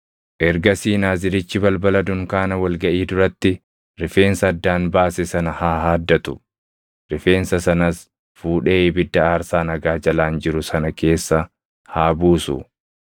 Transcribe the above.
“ ‘Ergasii Naazirichi balbala dunkaana wal gaʼii duratti rifeensa addaan baase sana haa haaddatu. Rifeensa sanas fuudhee ibidda aarsaa nagaa jalaan jiru sana keessa haa buusu.